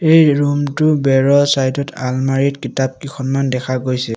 এই ৰুম টোৰ বেৰৰ ছাইড ত আলমাৰিত কিতাপ কিখনমান দেখা গৈছে।